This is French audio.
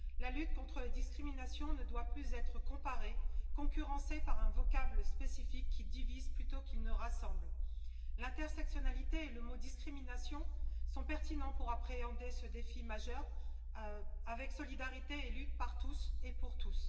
La lutte contre les discriminations ne doit plus être comparée, concurrencée par un vocable spécifique qui divise plutôt qu'il ne rassemble. L'intersectionnalité et le mot discrimination sont pertinents pour appréhender ce défi majeur avec solidarité et lutte par tous et pour tous.